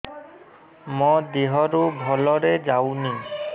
ମୋ ଦିହରୁ ଭଲରେ ଯାଉନି